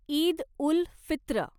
Eid ul Fitr